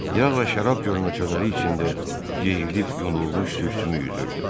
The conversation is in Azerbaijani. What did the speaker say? Yağ və şərab gölməçələri içində yeyilib yunulmuş sürtükmü üzürdü?